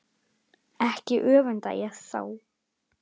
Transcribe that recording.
Ekki öfunda ég þá